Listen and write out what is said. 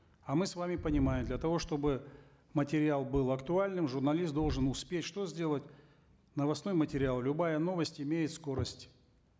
а мы с вами понимаем для того чтобы материал был актуальным журналист должен успеть что сделать новостной материал любая новость имеет скорость